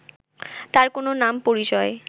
তার কোনো নাম পরিচয়